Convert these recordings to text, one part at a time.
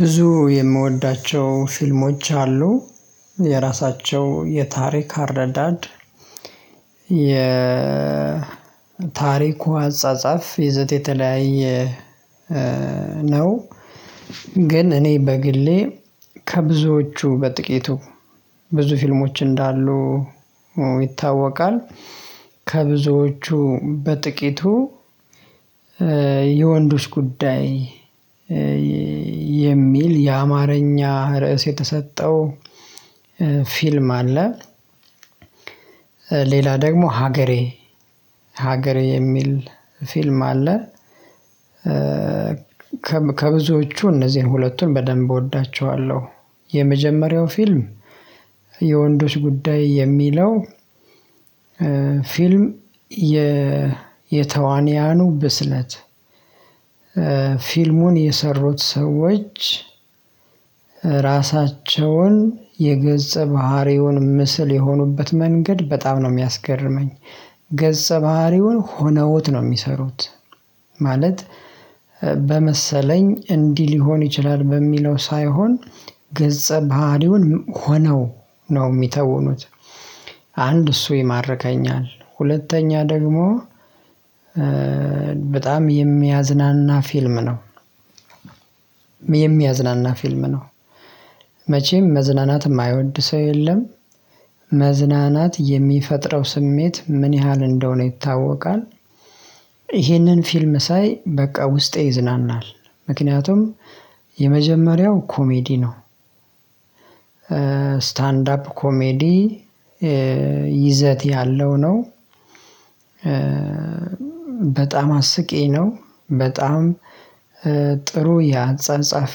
ብዙ የምወዳቸው ፊልሞች አሉ የራሳቸው የታሪክ አረዳድ የታሪኩ አጻጻፍ ይዘት የተለያየ ነው። ግን እኔ በግሌ ከብዙዎቹ በጥቂቱ ብዙ ፊልሞች እንዳሉ ይታወቃል። ከብዙዎቹ በጥቂቱ የወንዶች ጉዳይ የሚል የአማርኛ ርዕስ የተሰጠው ፊልም አለ። ሌላ ደግሞ ሀገሬ ሀገሬ የሚል ፊልም አለ። ከብዙዎቹ እነዚህን ሁለቱን በደንብ እወዳቸዋለሁ። የመጀመሪያው ፊልም የወንዶች ጉዳይ የሚለው ፊልም የተዋንያኑ ብስለት ፊልሙን የሰሩት ሰዎች ራሳቸውን የገጸ ባህሪውን ምስል የሆኑበት መንገድ በጣም ነው የሚያስገርመኝ። ገጸ ባህሪውን ሆነውት ነው የሚሰሩት ማለት በመሰለኝ እንዲህ ሊሆን ይችላል በሚለው ሳይሆን ገጸ ባህሪውን ሆነው ነው የሚተውኑት። አንድ እሱ ይማርከኛል። ሁለተኛ ደግሞ በጣም የሚያዝናና ፊልም ነው። የሚያዝናና ፊልም ነው። መቼም መዝናናት የማይወድ ሰው የለም። መዝናናት የሚፈጥረው ስሜት ምን ያህል እንደሆነ ይታወቃል። ይህንን ፊልም ሳይ በቃ ውስጤ ይዝናናል። ምክንያቱም የመጀመሪያው ኮሜዲ ነው። ስታንድ አፕ ኮሜዲ ይዘት ያለው ነው። በጣም አስቂኝ ነው። በጣም ጥሩ የአጻጻፍ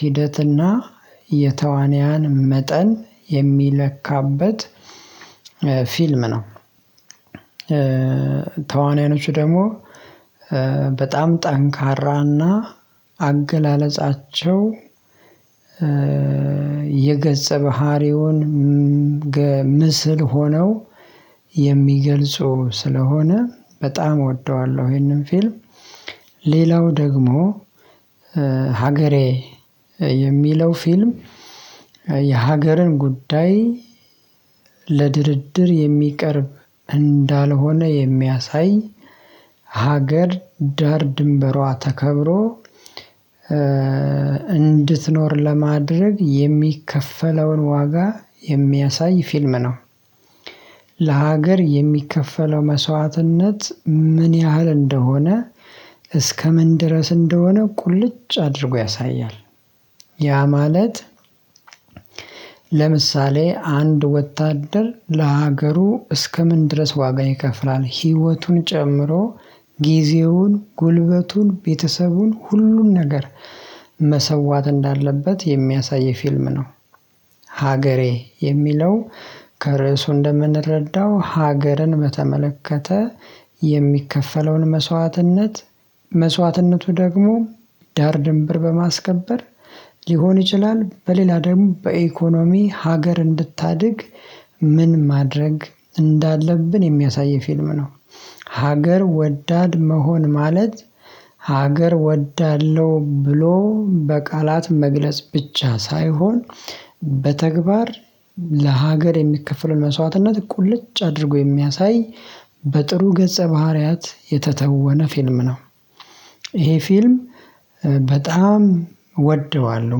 ሂደትና የተዋንያን መጠን የሚለካበት ፊልም ነው። ተዋናዮቹ ደግሞ በጣም ጠንካራና አገላለጻቸው የገጸ ባህሪውን ምስል ሆነው የሚገልጾ ስለሆነ በጣም እወደዋለሁ። ይሄንን ፊልም ሌላው ደግሞ ሀገሬ የሚለው ፊልም የሀገርን ጉዳይ ለድርድር የሚቀርብ እንዳልሆነ የሚያሳይ ሀገር ዳር ድንበሯ ተከብሮ እንድትኖር ለማድረግ የሚከፈለውን ዋጋ የሚያሳይ ፊልም ነው። ለሀገር የሚከፈለው መስዋዕትነት ምን ያህል እንደሆነ እስከምን ድረስ እንደሆነ ቁልጭ አድርጎ ያሳያል። ያ ማለት ለምሳሌ አንድ ወታደር ለሀገሩ እስከምን ድረስ ዋጋ ይከፍላል ህይወቱን ጨምሮ ጊዜውን ጉልበቱን ቤተሰቡን ሁሉን ነገር መሰዋት እንዳለበት የሚያሳይ ፊልም ነው። ሀገሬ የሚለው ከርእሱ እንደምንረዳው ሀገርን በተመለከተ የሚከፈለውን መስዋዕትነት መስዋዕትነቱ ደግሞ ዳር ድንብር በማስከበር ሊሆን ይችላል። በሌላ ደግሞ በኢኮኖሚ ሀገር እንድታድግ ምን ማድረግ እንዳለብን የሚያሳይ ፊልም ነው። ሀገር ወዳድ መሆን ማለት ሀገር ወዳለሁ ብሎ በቃላት መግለጽ ብቻ ሳይሆን በተግባር ለሀገር የሚከፈለውን መስዋዕትነት ቁልጭ አድርጎ የሚያሳይ በጥሩ ገጸ ባህሪያት የተተወነ ፊልም ነው። ይሄ ፊልም በጣም እወደዋለሁ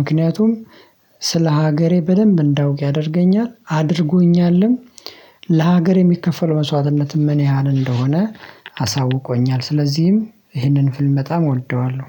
ምክንያቱም ስለ ሀገሬ በደንብ እንዳውቅ ያደርገኛል አድርጎኛልም። ለሀገር የሚከፈለው መስዋዕትነት ምን ያህል እንደሆነ አሳውቆኛል። ስለዚህም ይህንን ፍልም በጣም እወደዋለሁ።